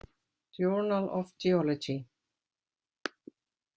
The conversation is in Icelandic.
Journal of Geology.